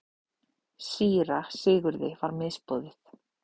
Síra Sigurði var misboðið.